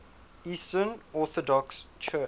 eastern orthodox church